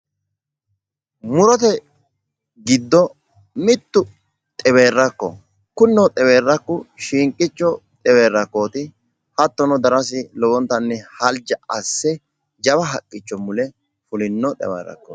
murote giddo mittu xewerrakkoho, kunino xewerakku shiinqicco xewerrakkooti hattono darosi lowotanni halja asse jawa haqqicho mule fulino xewerrakkooti.